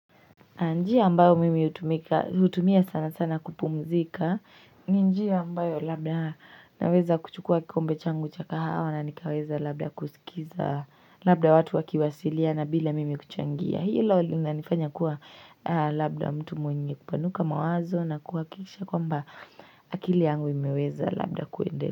Njia ambayo mimi hutumia sana sana kupumzika njia ambayo labda naweza kuchukua kikombe changu cha kahawa na nikaweza labda kusikiza labda watu wakiwasiliana bila mimi kuchangia Hilo linanifanya kuwa labda mtu mwenye kupanuka mawazo na kuhakikisha kwamba akili yangu imeweza labda kuendelea.